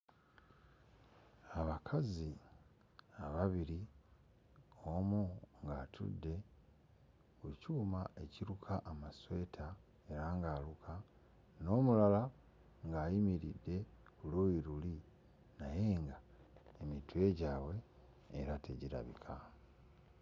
Abakazi ababiri, omu ng'atudde ku kyuma ekiruka amasweta era ng'aluka, n'omulala ng'ayimiridde ku luuyi luli naye ng'emitwe gyabwe era tegirabika.